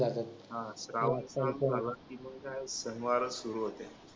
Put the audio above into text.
हा श्रावण सुरू झाला की काय शनिवार सुरू होते